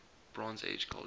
bronze age culture